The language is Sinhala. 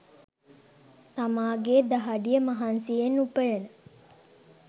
තාමාගේ දහඩිය මහන්සියෙන් උපයන